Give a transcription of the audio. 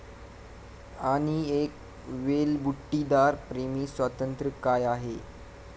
आणि एक वेलबुट्टीदार प्रेमी स्वातंत्र्य काय आहे!